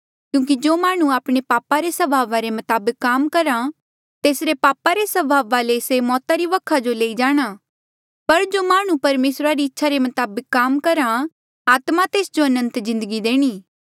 क्यूंकि जो माह्णुं आपणे पापा रे स्वभाव रे मताबक काम करहा तेसरे पापा रे स्वभावा से मौता री वखा जो लेई जाणा पर जो माह्णुं परमेसरा री इच्छा रे मताबक काम करहा आत्मा तेस जो अनंत जिन्दगी देणी